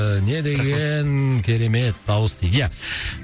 і не деген керемет дауыс дейді иә